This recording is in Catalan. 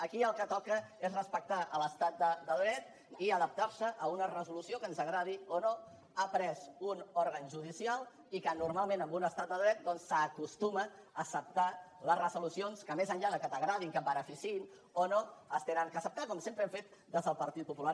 aquí el que toca és respectar l’estat de dret i adaptar se a una resolució que ens agradi o no ha pres un òrgan judicial i que normalment en un estat de dret doncs s’acostuma a acceptar les resolucions que més enllà que t’agradin que et beneficiïn o no s’han d’acceptar com sempre hem fet des del partit popular